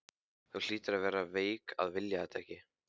Þú hlýtur að vera veik að vilja þetta ekki!